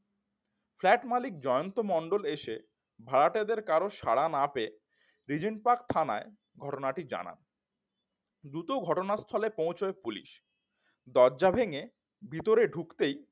flat মালিক জয়ন্ত মন্ডল এসে ভাড়াটেদের কারো সাড়া না পেয়ে রিজেন্ট পার্ক থানায় ঘটনাটি জানান দ্রুত ঘটনাস্থলে পৌঁছায় পুলিশ দরজা ভেঙে ভিতরে ঢুকতেই